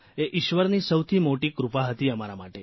એ ઇશ્વરની સૌથી મોટી કૃપા હતી અમારા માટે